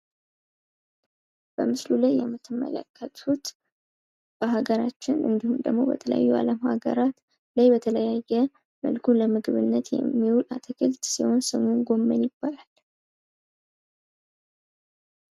በምስሉ ላይ የምትመለከቱት በሀገራችን ወይም በተለያዩ የአለም ሀገራት ላይ በተለያየ መልኩ ለምግብነት የሚውል አትክልት ሲሆን ስሙም ጎመን ይባላል።